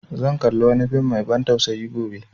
Zan kalli wani fim mai ban tsausayi gobe